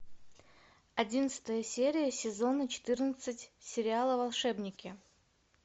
одиннадцатая серия сезона четырнадцать сериала волшебники